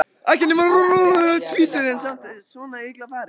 Ekki nema rúmlega tvítug en samt svona illa farin.